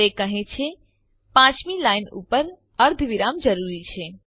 તે કહે છે પાંચમી લાઈન ઉપર અર્ધવિરામ જરૂરી છે